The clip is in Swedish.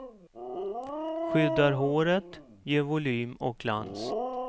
Skyddar håret, ger volym och glans.